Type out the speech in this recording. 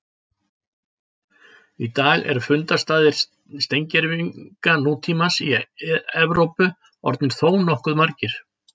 Í dag eru fundarstaðir steingervinga nútímamannsins í Evrópu orðnir þónokkuð margir.